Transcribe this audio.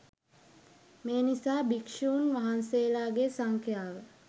මේ නිසා භික්ෂුණීන් වහන්සේලාගේ සංඛ්‍යාව